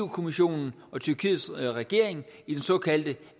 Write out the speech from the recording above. kommissionen og tyrkiets regering i den såkaldte